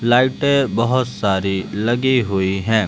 लाइटें बहुत सारी लगी हुई हैं।